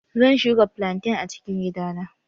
Zan shuka flantain a cikin gidana.